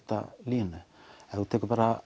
línu ef þú tekur bara